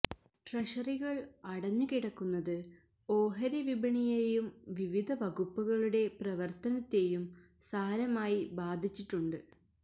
ട്രഷറികള് അടഞ്ഞ് കിടക്കുന്നത് ഓഹരി വിപണിയേയും വിവിധ വകുപ്പുകളുടെ പ്രവര്ത്തനത്തെയും സാരമായി ബാധിച്ചിട്ടുണ്ട്